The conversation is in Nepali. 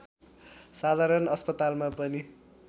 साधारण अस्पतालमा पनि